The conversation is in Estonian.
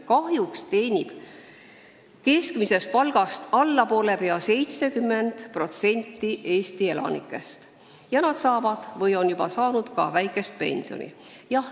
Kahjuks teenib keskmisest palgast vähem pea 70% Eesti elanikest ja nad hakkavad saama või juba saavad väikest pensioni.